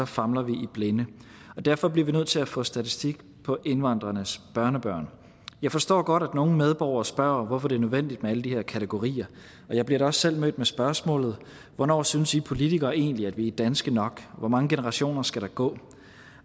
famler vi i blinde derfor bliver vi nødt til at få statistik på indvandrernes børnebørn jeg forstår godt at nogle medborgere spørger hvorfor det er nødvendigt med alle de her kategorier og jeg bliver da også selv mødt med spørgsmålet hvornår synes i politikere egentlig at vi er danske nok hvor mange generationer skal der gå